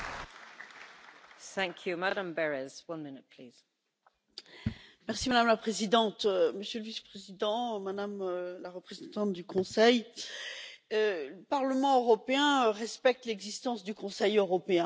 Madame la Présidente, Monsieur le vice Président, Madame la représentante du Conseil, le Parlement européen respecte l'existence du Conseil européen, de fait, mais j'ai l'impression que la réciproque n'est pas toujours vraie.